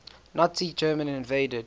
nazi germany invaded